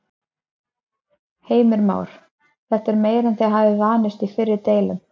Heimir Már: Þetta er meira en þið hafið vanist í fyrri deilum?